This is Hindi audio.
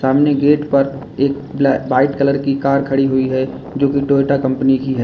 सामने गेट पर एक वाइट कलर की कार खड़ी हुई है जो कि टोयोटा कंपनी की है।